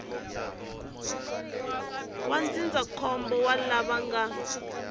wa ndzindzakhombo wa lava nga